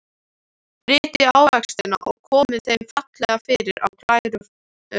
Brytjið ávextina og komið þeim fallega fyrir á glæru fati.